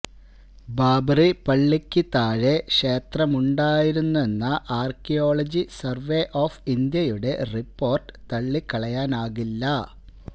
ബാബ്റി പള്ളിക്ക് താഴെ ക്ഷേത്രമുണ്ടായിരുന്നെന്ന ആർക്കിയോളജി സർവേ ഒഫ് ഇന്ത്യയുടെ റിപ്പോർട്ട് തള്ളിക്കളയാനാകില്ല